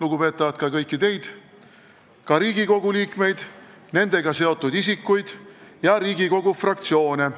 lugupeetavad, ka kõiki teid – Riigikogu liikmeid, nendega seotud isikuid ja Riigikogu fraktsioone?